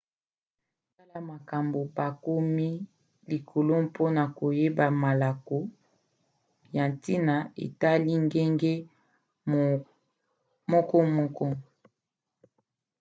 tala makambo bakomi likolo mpona koyeba malako ya ntina etali ngenge mokomoko